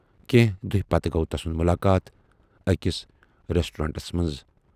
کینہہ دۅہۍ پتہٕ گوٚو تسُنٛد مُلاقات ٲکِس ریسٹورنٹس منز۔